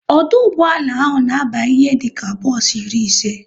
Ọdụ ụgbọala ahụ na aba ihe dịka bos iri ise